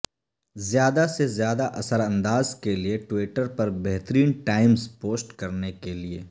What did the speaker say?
زیادہ سے زیادہ اثر انداز کے لئے ٹویٹر پر بہترین ٹائمز پوسٹ کرنے کے لئے